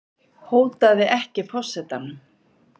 Hótaði ekki forsetanum